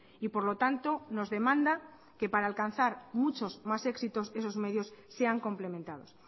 y por lo tanto nos demanda que para alcanzar muchos más éxitos esos medios sean complementados